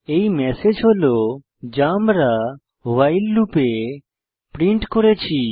এই ম্যাসেজ হল যা আমরা ভাইল লুপে প্রিন্ট করেছি